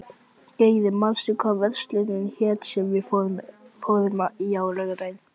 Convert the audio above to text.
Geri, manstu hvað verslunin hét sem við fórum í á laugardaginn?